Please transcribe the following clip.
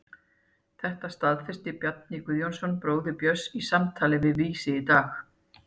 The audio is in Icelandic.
Þetta staðfesti Bjarni Guðjónsson, bróðir Björns, í samtali við Vísi í dag.